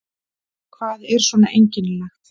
Hvað er svona einkennilegt?